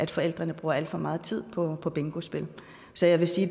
forældrene bruger alt for meget tid på på bingospil så jeg vil sige at